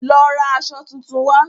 Lọ ra aṣọ tuntun wá.